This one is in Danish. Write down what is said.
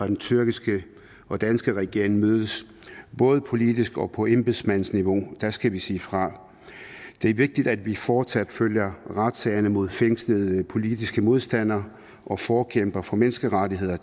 den tyrkiske og danske regering mødes både politisk og på embedsmandsniveau skal vi sige fra det er vigtigt at vi fortsat følger retssagerne mod fængslede politiske modstandere og forkæmpere for menneskerettigheder